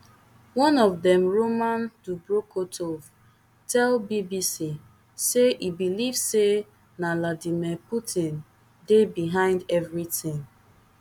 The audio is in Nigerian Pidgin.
one of dem roman dobrokhotovtell bbc say e believe say na vladimir putin dey behind evri tin